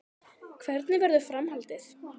Hvernig verður framhaldið?